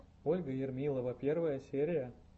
ольга ермилова первая серия